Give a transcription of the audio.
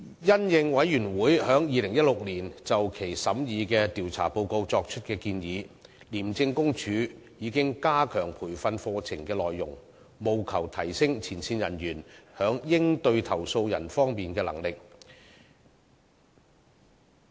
因應委員會在2016年就其審議的調查報告作出的建議，廉政公署已加強培訓課程的內容，務求提升前線人員在應對投訴人方面的能力。